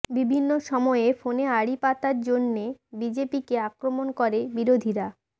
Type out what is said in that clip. বিভিন্ন সময়ে ফোনে আড়ি পাতার জন্যে বিজেপিকে আক্রমণ করে বিরোধীরা